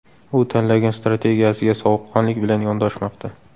U tanlagan strategiyasiga sovuqqonlik bilan yondoshmoqda.